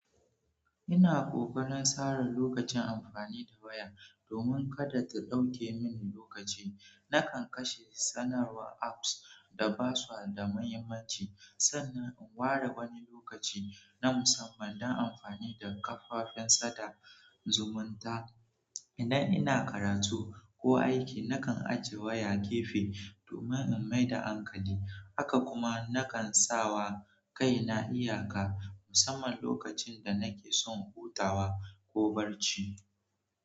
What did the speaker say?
Ina kokarin sare lokacin amfani da waya domin kada ta ɗauke mini lokaci. Nakan kashe sanarwar apps, da basa da muhimmaci, sannan in ware wani lokacin na musamman dan amfani da kafafen sada zumunta. Idan ina karatu ko aiki, nakan ajiye waya gefe domin in mai da hankali. Haka kuma nakan sa wa kaina iyaka musamman lokacin da nake son hutawa ko barci.